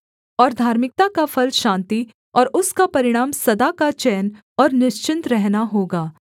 और धार्मिकता का फल शान्ति और उसका परिणाम सदा का चैन और निश्चिन्त रहना होगा